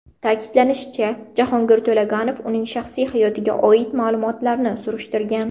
Ta’kidlashicha, Jahongir To‘laganov uning shaxsiy hayotiga oid ma’lumotlarni surishtirgan.